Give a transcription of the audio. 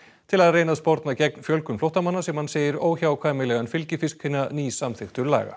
til að reyna að sporna gegn fjölgun flóttamanna sem hann segir óhjákvæmilegan fylgifisk hinna nýsamþykktu laga